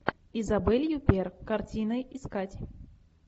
изабель юппер картины искать